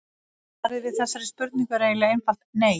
Svarið við þessari spurningu er eiginlega einfalt nei.